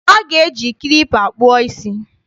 A ga-eji klipa kpụọ isí.